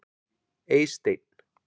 Eysteinn